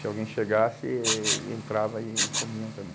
Se alguém chegasse, eh ele entrava e comiam também.